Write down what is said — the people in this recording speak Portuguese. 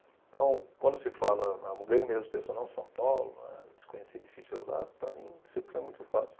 Então, quando se fala, São Paulo, desconhecido, difícil de rodar, para mim sempre foi muito fácil.